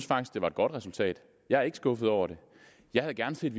faktisk det var et godt resultat jeg er ikke skuffet over det jeg havde gerne set